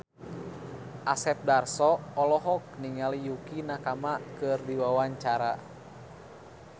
Asep Darso olohok ningali Yukie Nakama keur diwawancara